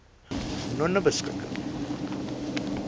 nonebeskikking